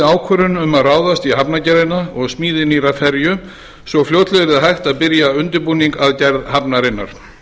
ákvörðun um að ráðast í hafnargerðina og smíði nýrrar ferju svo fljótlega yrði hægt að byrja undirbúning að gerð hafnarinnar